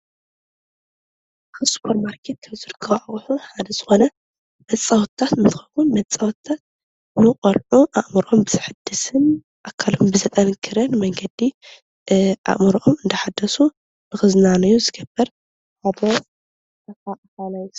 ኣብ ስፖርማርኬት ዝርከብ ኣቁሑ ሓደ ዝኮነ መፃወቲታት እንትከውን መፃወቲታት ንቆልዑ ኣእምርኦም ብዘሕድስን ኣካሎም ብዘጠንከርን መንገዲ ኣእምርኦም እንዳሕደሱ ንክዝናነዩ ዝገብር ሓደ